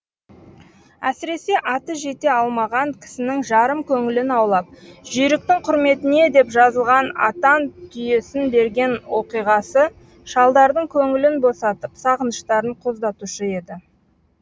әсіресе аты жете алмаған кісінің жарым көңілін аулап жүйріктің құрметіне деп жазылған атан түйесін берген оқиғасы шалдардың көңілін босатып сағыныштарын қоздатушы еді